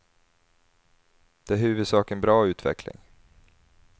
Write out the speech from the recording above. Det är i huvudsak en bra utveckling.